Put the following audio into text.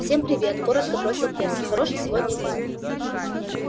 всем привет коротко бросил перси хороший сегодня день